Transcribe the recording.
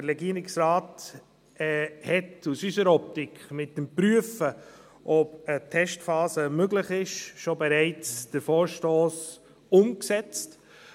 Der Regierungsrat hat, aus unserer Optik, mit dem Prüfen, ob eine Testphase möglich sei, den Vorstoss bereits umgesetzt.